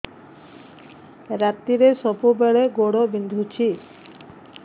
ରାତିରେ ସବୁବେଳେ ଗୋଡ ବିନ୍ଧୁଛି